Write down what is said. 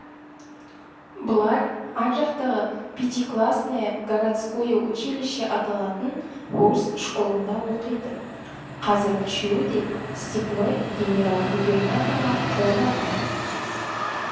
бұлар ар жақтағы пятиклассное городское училище аталатын орыс школында оқиды қазір үшеуі де степной генерал-губернаторға жолдаған